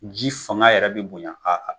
Ji fanga yɛrɛ bi bonya